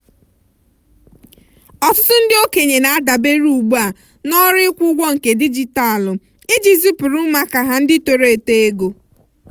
ọtụtụ ndị okenye na-adabere ugbu a na ọrụ ịkwụ ụgwọ nke dijitalụ iji zipuru ụmụaka ha ndị toro eto ego.